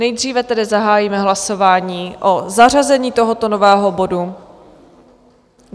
Nejdříve tedy zahájíme hlasování o zařazení tohoto nového bodu.